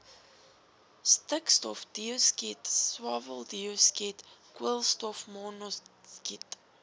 stikstofdioksied swaweldioksied koolstofmonoksied